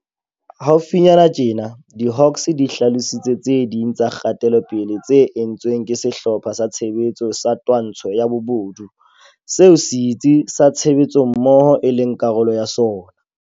Haufinyane tjena, di-Hawks di hlalositse tse ding tsa kgatelopele tse entsweng ke Sehlopha sa Tshebetso sa Twantsho ya Bobodu, seo Setsi sa Tshebetsommoho e leng karolo ya sona.